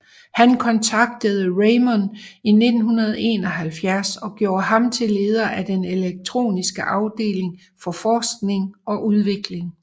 Han kontaktede Raymond i 1971 og gjorde ham til leder af den elektroniske afdeling for forskning og udvikling